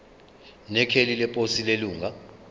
nekheli leposi lelunga